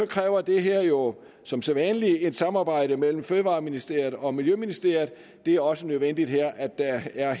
kræver det her jo som sædvanlig et samarbejde mellem fødevareministeriet og miljøministeriet det er også nødvendigt her at der helt er